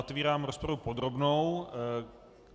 Otevírám rozpravu podrobnou.